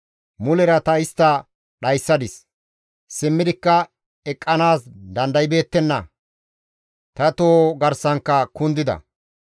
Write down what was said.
Mulera ta istta dhayssadis; simmidikka eqqanaas dandaybeettenna; ta toho garsankka kundida.